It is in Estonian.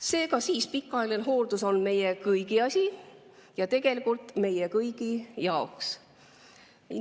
Seega, pikaajaline hooldus on meie kõigi asi ja tegelikult meie kõigi jaoks.